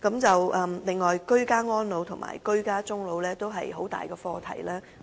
此外，居家安老及居家終老也是一大課題。